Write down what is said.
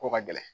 Ko ka gɛlɛn